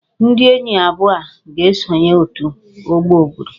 Ndị enyi abụọ a ga-esonye òtù ọgbọ obodo